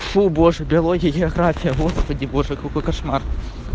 фу боже биология география господи боже какой кошмар